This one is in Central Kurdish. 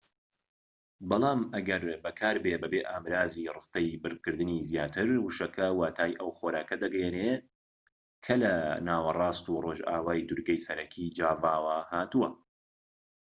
بەڵام ئەگەر بەکاربێت بەبێ ئامڕازی ڕستەی بڕکردنی زیاتر وشەکە واتای ئەو خۆراکە دەگەیەنێت کە لە ناوەڕاست و ڕۆژئاوای دورگەی سەرەکی جاڤاوە هاتووە